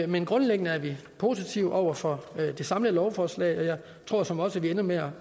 men grundlæggende er vi positive over for det samlede lovforslag og jeg tror såmænd også at vi ender med